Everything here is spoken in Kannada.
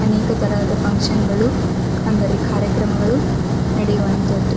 ಅನೇಕತಹದ ಫುನ್ಕ್ಷನ್ ಗಳು ಕಂದಲಿ ಕಾರ್ಯಕ್ರಮಗಳು ನಡೆವಂಥದು.